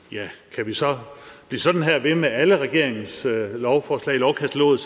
kan vi så blive sådan ved med alle regeringens lovforslag i lovkataloget